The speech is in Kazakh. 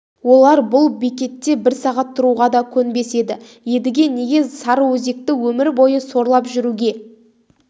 олар бұл бекетте бір сағат тұруға да көнбес еді едіге неге сарыөзекте өмір бойы сорлап жүруге